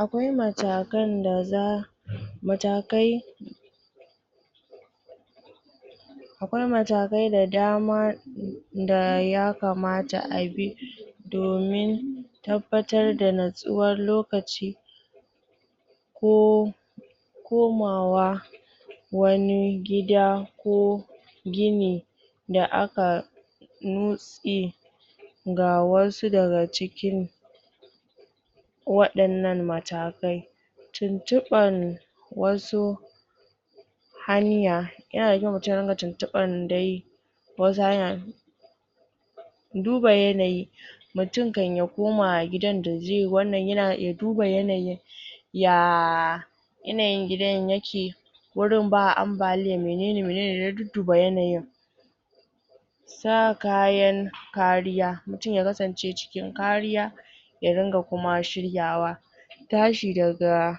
Akwai matakan da za, matakai akwai matakai da dama da yakamata a bi domin tabbatar da natsuwar lokaci ko ko komawa wani gida ko gini da aka nutsi ga wasu daga cikin waɗannan matakai tuntuɓar wasu hanya, yana da kyau mutun ya dinga tuntuɓan dai wasu hanyan duba yanayi mutun kan ya koma gidan da zai wannan, ya duba yanayin ya yanayin gidan yake wurin ba ambaliya menene, menene ya dudduba yanayin sa kayan kariya, mutun ya kasance cikin kariya ya ringa kuma shiryawa tashi daga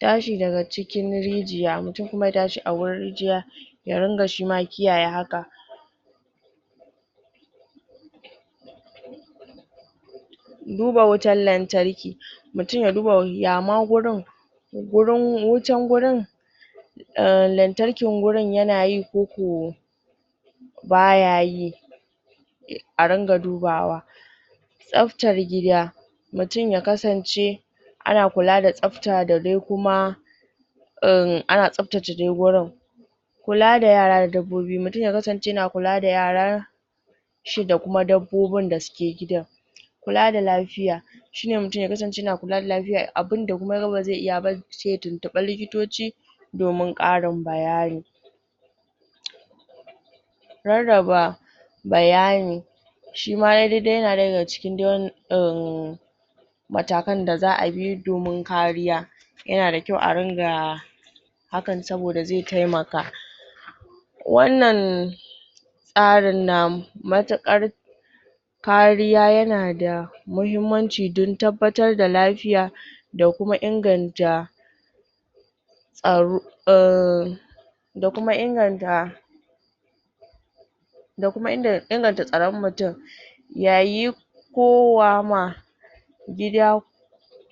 tashi daga cikin rijiya, mutun kuma ya tashi a wurin rijiya ya ringa shi ma kiyaye haka duba wutan lantarki mutun ya duba ya ma gurin gurin, wutan gurin lantarkin gurin yana yi koko baya yi a ringa dubawa tsabtar gida mutun ya kasance ana kula da tsabta da dai kuma ana tsabtace dai gurin kula da yara da dabbobi, mutun ya kasance yana kula da yaran shi da kuma dabbobin da suke gidan kula da lafiya shine mutun ya kasance yana kula da lafiya, abinda kuma ya ga bazai iya ba sai ya tuntuɓi likitoci domin ƙarin bayani rarraba bayani shi ma yai daidai yana ɗaya daga cikin em, matakan da za'a bi domin kariya yana da kyau a ringa hakan saboda zai taimaka wannan tsarin na matuƙar kariya yana da mahimmanci don tabbatar da lafiya da kuma inganta tsaro em, da kuma inganta da kuma inganta tsaron mutun yayin kowa ma gida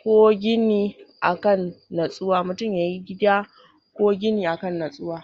ko gini akan natsuwa, mutun yai gida ko gini akan natsuwa.